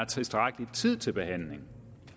tilstrækkelig tid til behandling